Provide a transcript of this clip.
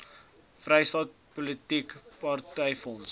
vrystaat politieke partyfonds